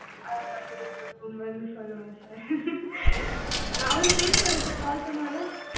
அவர boomer boomer சொல்லுவோம் அவரு பெசுவாரா sir call பண்ணுவாரா